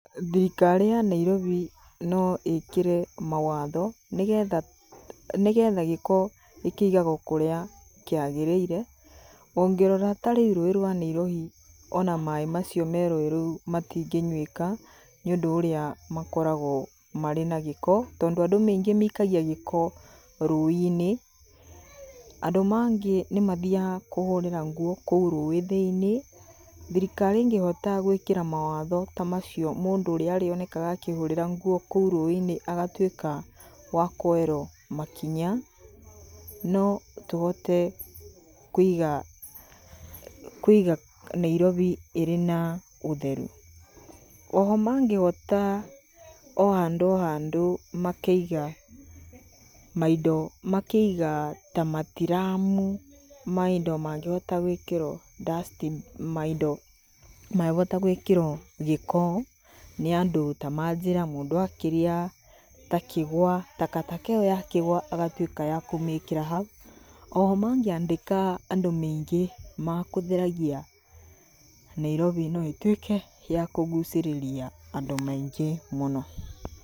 Thirikari ya Nairobi noĩkĩre mawatho nĩgetha. nĩgetha gĩko kĩigagwo kũrĩa kĩagĩrĩire. Ongĩrora ta rĩu rũĩ rwa Nairobi ona maĩ macio merũĩ rũu matingĩnyuĩka nĩũdũ ũrĩa makoragwo na gĩko tondũ andũ aingĩ maikagia gĩko rũĩ-inĩ. Andũ mangĩ nĩmathiaga nĩmathiaga kũhũrĩra nguo rũĩ thĩiniĩ, thirikari ĩngĩhota gũĩkĩra mawatho tamacio mũndũ ũrĩa arĩonekanaga akĩhũrĩra nguo kũu rũĩ-inĩ agatuĩka wakwoerwo makinya notũhote kũiga Nairobi ĩrĩ na ũtheru. Oho mangĩhota ohandũ ohandũ makaiga maindo , makaiga ta matiramu maindo mangĩhota gũĩkĩrwo dustbin maindo mangĩhota gũĩkĩrwo gĩko nĩandũ ta manjĩra mũndũ akĩrĩa ta kĩgwa, takataka ĩo ya kĩgwa agatuĩka ya kũmĩkĩra hau. Oho mangĩandĩka andũ maingĩ makũtheragia, Nairobi noĩtuĩka yakũgucĩrĩria andũ maingĩ mũno.